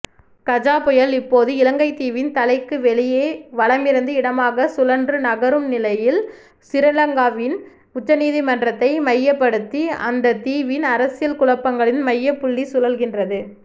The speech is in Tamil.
கஜா புயல் இப்போது இலங்கைத்தீவின் தலைக்கு வெளியே வலமிருந்து இடமாக சுழன்றுநகரும்நிலையில் சிறிலங்காவின் உச்சநீதிமன்றத்தை மையப்படுத்திஅந்தத்தீவின் அரசியல்குழப்பங்களின் மையப்புள்ளிசுழல்கின்றது